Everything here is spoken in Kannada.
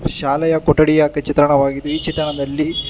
ಶಾಲೆಯ ಕೊಠಡಿಯಾಕಿ ಚಿತ್ರಣವಾಗಿದ್ದು ಈ ಚಿತ್ರಣದಲ್ಲಿ--